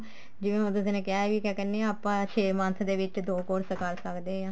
ਜਿਵੇਂ ਹੁਣ ਤੁਸੀਂ ਨੇ ਕਿਹਾ ਵੀ ਕਿਆ ਕਹਿਨੇ ਆ ਆਪਾਂ ਛੇ month ਦੇ ਵਿੱਚ ਦੋ course ਕਰ ਸਕਦੇ ਹਾਂ